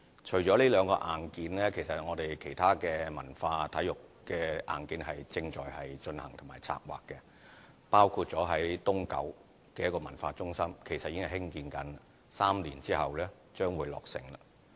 除了這兩個硬件，其他文化、體育的硬件亦正在進行和策劃，包括位於東九的文化中心正在興建 ，3 年之後將會落成。